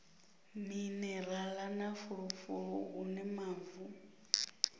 minerala na fulufulu hune mavu